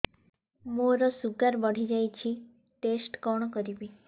ମୋର ଶୁଗାର ବଢିଯାଇଛି ଟେଷ୍ଟ କଣ କରିବି